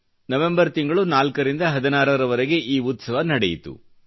November ತಿಂಗಳು 4 ರಿಂದ 16 ರ ವರೆಗೆ ಈ ಉತ್ಸವ ನಡೆಯಿತು